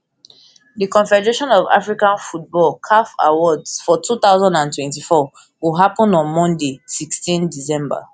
di confederation of african football caf awards for two thousand and twenty-four go happun on monday sixteen december